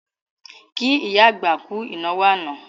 Kí ìyá àgbà kú ìnáwó àná